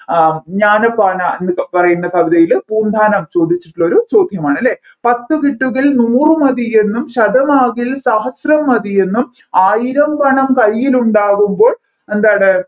ആഹ് ജ്ഞാനപ്പാന എന്ന പറയുന്ന കവിതയിൽ പൂന്താനം ചോദിച്ചിട്ടുള്ള ഒരു ചോദ്യമാണ് അല്ലെ പത്ത് കിട്ടുകിൽ നൂറു മതിയെന്നും ശതമാവുകിൽ സഹസ്രം മതിയെന്നും ആയിരം പണം കൈയിലുണ്ടാവുമ്പോൾ എന്താണ്